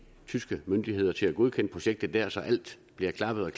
tyske myndigheder til at godkende projektet der så alt bliver klappet